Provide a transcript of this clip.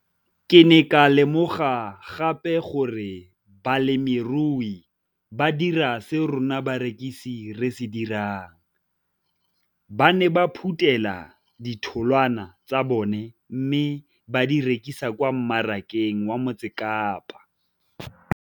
Ke ne ka lemoga gape gore balemirui ba dira seo rona barekisi re se dirang, ba ne ba phuthela ditholwana tsa bona mme ba di rekisa kwa marakeng wa Motsekapa.